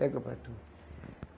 Pega para tu.